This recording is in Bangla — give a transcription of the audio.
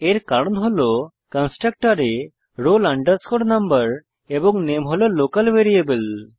এর কারণ হল কন্সট্রকটরে roll number এবং নামে হল লোকাল ভ্যারিয়েবল